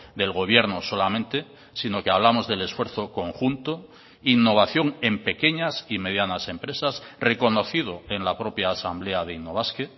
del gobierno solamente sino que hablamos del esfuerzo conjunto innovación en pequeñas y medianas empresas reconocido en la propia asamblea de innobasque